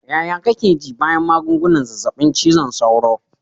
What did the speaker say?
Ƴaƴa kake ji bayan magungunan zazzabin cizon sauro.